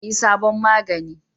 Za a yi sabon magani